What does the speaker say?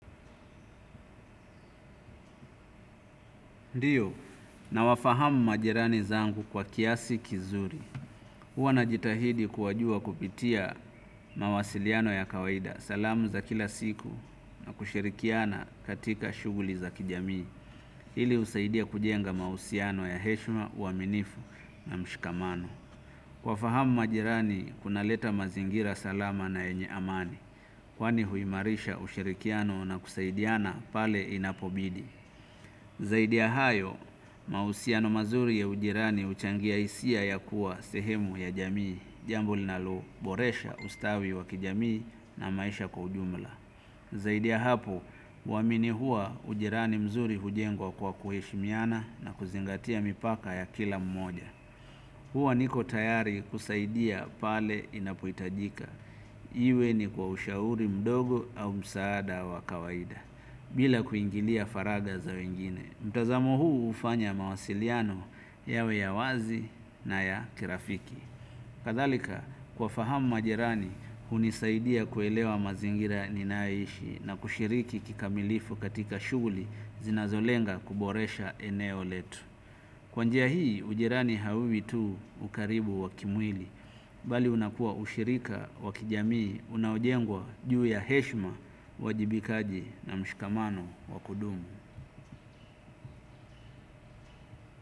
Ndio, nawafahamu majirani zangu kwa kiasi kizuri. Huwa najitahidi kuwajua kupitia mawasiliano ya kawaida. Salamu za kila siku na kushirikiana katika shuguli za kijami. Hili husaidia kujenga mausiano ya heshima, uaminifu na mshikamano. Kuwafahamu majirani, kunaleta mazingira salama na yenye amani. Kwani huimarisha ushirikiano na kusaidiana pale inapobidi. Zaidi ya hayo, mausiano mazuri ya ujirani huchangia hisia ya kuwa sehemu ya jamii, jambo linaloboresha ustawi wa kijamii na maisha kwa ujumla. Zaidi ya hapo, huamini hua ujirani mzuri hujengwa kwa kuheshimiana na kuzingatia mipaka ya kila mmoja. Huwa niko tayari kusaidia pale inapohitajika iwe ni kwa ushauri mdogo au msaada wa kawaida. Bila kuingilia faraga za wengine. Mtazamo huu hufanya mawasiliano yawe ya wazi na kirafiki kadhalika kuwafahamu majirani hunisaidia kuelewa mazingira ninayoishi na kushiriki kikamilifu katika shughuli zinazolenga kuboresha eneo letu kwa njia hii ujirani hauwi tu ukarimu wa kimwili bali unakuwa ushirika wa kijamii unaojengwa juu ya heshima uwajibikaji na mshikamano wakudumu.